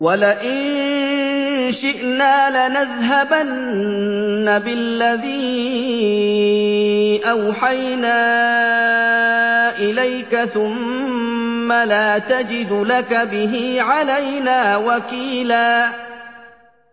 وَلَئِن شِئْنَا لَنَذْهَبَنَّ بِالَّذِي أَوْحَيْنَا إِلَيْكَ ثُمَّ لَا تَجِدُ لَكَ بِهِ عَلَيْنَا وَكِيلًا